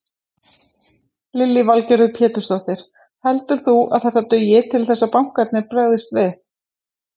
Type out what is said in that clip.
Lillý Valgerður Pétursdóttir: Heldur þú að þetta dugi til þess að bankarnir bregðist við?